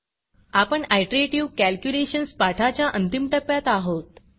आपण iterative calculations पाठाच्या अंतिम टप्प्यात आहोत